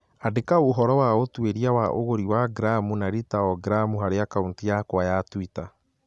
Andĩka ũhoro wa ũtuĩria wa ũgũri wa gramu na lita o gramu harĩ akaunti yakwa ya tũita.